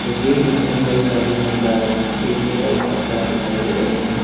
तस्वीर में हमें कई सारी महिलाएं एक जगह इकट्ठा दिखाई दे रही हैं।